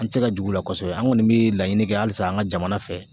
An ti se ka jigi u la kosɛbɛ an kɔni mi laɲini kɛ halisa an ka jamana fɛ